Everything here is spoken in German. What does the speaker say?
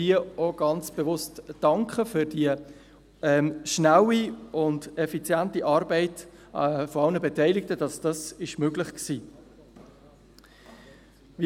Ich möchte hier ganz bewusst für die rasche und effiziente Arbeit aller Beteiligten danken, welche dies möglich machte.